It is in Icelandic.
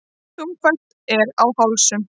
Þungfært er á hálsum.